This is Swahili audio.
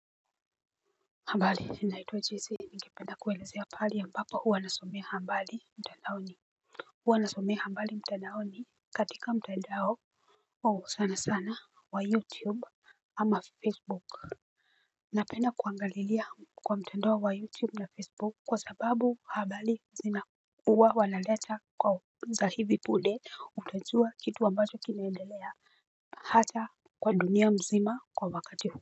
Habari naitwa jese ningependa kuelezea mahali ambapo huwa nasomea habari mtandaoni. Huwa nasomea habari mtandaoni katika mtandao sana sana wa youtube ama facebook. Napenda kuangalilia kwa mtandao wa youtube na facebook kwa sababu habari zina huwa wanaleta za hivi punde utajua kitu ambacho kinaendelea hata kwa dunia mzima kwa wakati huu.